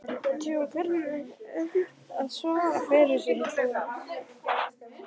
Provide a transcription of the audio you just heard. Því hún kunni enn að svara fyrir sig hún